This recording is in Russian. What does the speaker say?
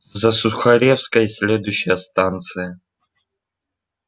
за сухаревской следующая станция